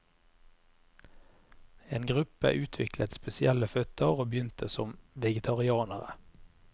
En gruppe utviklet spesielle føtter og begynte som vegetarianere.